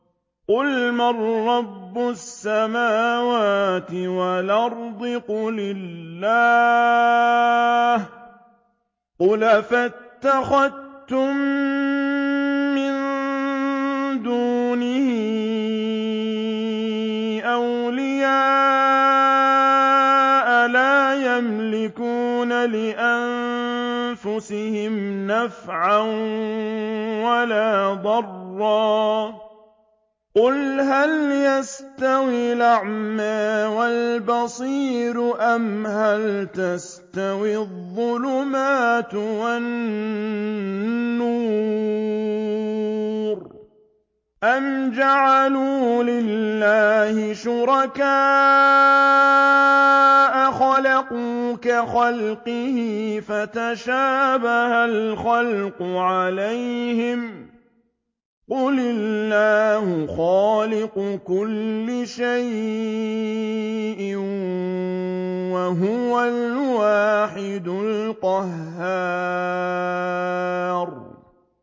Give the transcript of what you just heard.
قُلْ مَن رَّبُّ السَّمَاوَاتِ وَالْأَرْضِ قُلِ اللَّهُ ۚ قُلْ أَفَاتَّخَذْتُم مِّن دُونِهِ أَوْلِيَاءَ لَا يَمْلِكُونَ لِأَنفُسِهِمْ نَفْعًا وَلَا ضَرًّا ۚ قُلْ هَلْ يَسْتَوِي الْأَعْمَىٰ وَالْبَصِيرُ أَمْ هَلْ تَسْتَوِي الظُّلُمَاتُ وَالنُّورُ ۗ أَمْ جَعَلُوا لِلَّهِ شُرَكَاءَ خَلَقُوا كَخَلْقِهِ فَتَشَابَهَ الْخَلْقُ عَلَيْهِمْ ۚ قُلِ اللَّهُ خَالِقُ كُلِّ شَيْءٍ وَهُوَ الْوَاحِدُ الْقَهَّارُ